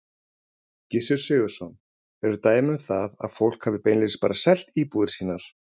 Gissur Sigurðsson: Eru dæmi um það að fólk hafi beinlínis bara selt íbúðir sínar?